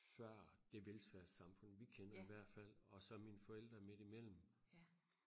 før det velfærdssamfund vi kender i hvert fald og så er mine forældre midt i mellem